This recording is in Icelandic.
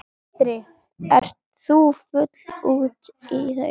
Sindri: Ert þú fúll út í þau?